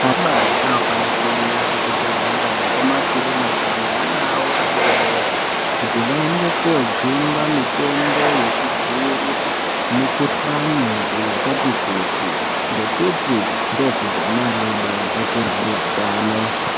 Anamai anofane kuenda kuzvibhedhlera nekuma kirinika neana awo adodori kuti vaende koojungwa mitombo yekudzivirira mikohlani yakati kuti ngekuti ana adodori akure aneutano.